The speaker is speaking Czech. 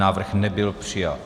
Návrh nebyl přijat.